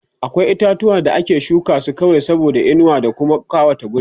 akwai itatuwa da ake shuka su kawai saboda inuwa da Kuma ƙawata wuri